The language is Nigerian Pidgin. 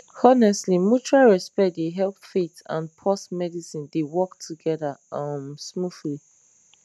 honestly mutual respect dey help faith and pause medicine dey work together um smoothly